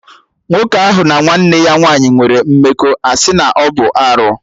Nwoke ahụ na nwanne ya nwaanyị nwere mmekọ, a sị na ọ bụ arụ